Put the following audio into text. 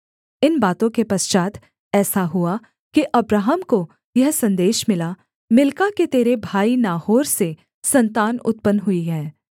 इन बातों के पश्चात् ऐसा हुआ कि अब्राहम को यह सन्देश मिला मिल्का के तेरे भाई नाहोर से सन्तान उत्पन्न हुई हैं